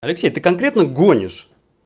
алексей ты конкретно гонишь